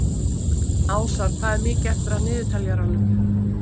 Ásar, hvað er mikið eftir af niðurteljaranum?